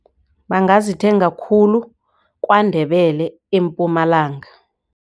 Bangazithenga khulu kwaNdebele eMpumalanga.